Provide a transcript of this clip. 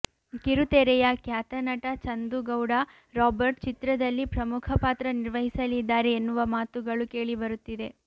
ಕಿರುತೆರೆಯ ಖ್ಯತ ನಟ ಚಂದು ಗೌಡ ರಾಬರ್ಟ್ ಚಿತ್ರದಲ್ಲಿ ಪ್ರಮುಖ ಪಾತ್ರ ನಿರ್ವಹಿಸಲಿದ್ದಾರೆ ಎನ್ನುವ ಮಾತುಗಳು ಕೇಳಿ ಬರುತ್ತಿದೆ